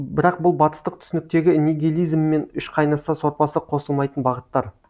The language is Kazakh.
бірақ бұл батыстық түсініктегі нигилизммен үш қайнаса сорпасы қосылмайтын бағыттар